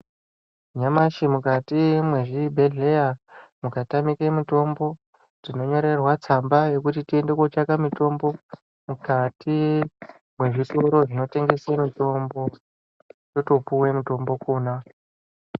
Nyamashi mukati mwezvibhedhleya mukatamike mitombo tinonyorerwa tsamba yekuti tiende kotsvaka mutombo mukati mwezvitoro zvinotengesa mitombo totopuwe mitombo kona.